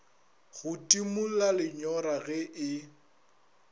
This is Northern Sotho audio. go timola lenyora ge e